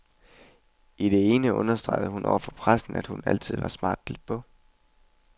I det ene understregede hun over for pressen, at hun altid var smart klædt på.